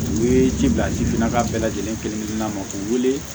U ye ji bila jifin na ka bɛɛ lajɛlen kelen kelenna ma k'u wele